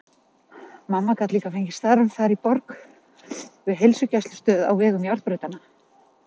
Mamma gat líka fengið starf þar í borg við heilsugæslustöð á vegum járnbrautanna.